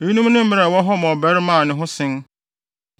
Eyinom ne mmara a ɛwɔ hɔ ma ɔbarima a ne ho sen